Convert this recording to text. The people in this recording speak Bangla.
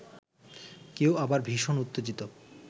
কেউ আবার ভীষণ উত্তেজিত